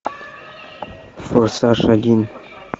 форсаж один